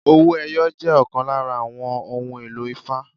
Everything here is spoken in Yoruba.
Owó ẹyọ jẹ́ ọ̀kan lára àwọn ohun èlò ifá.